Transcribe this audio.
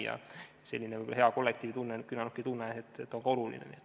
Nii et selline hea kollektiivitunne ja küünarnukitunne on ka oluline.